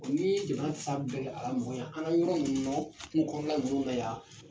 n'i ye jamana fan bɛɛ kɛ a l'a mogo ɲa. An ŋa yɔgɔn ɲiniŋ'o kungo kɔnɔna nunnu na yan.